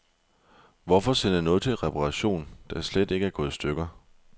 Hvorfor sende noget til reparation, der slet ikke er gået i stykker.